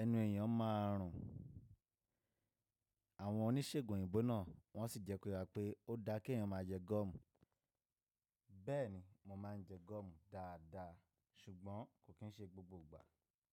ẹnu èèyàn máa rùn. Àwọn oníṣègùn òyìnbó náà wọ́n sì jẹ́ kọ̀ yà pé ó dáa kí èèyàn má a jẹ gọ́ọ̀mù. Bẹ́ẹ̀ ni, mo má a ń jẹ gọ́ọ̀mù dáadáa ṣùgbọ́n kò kín ń ṣe gbogbo ìgbà.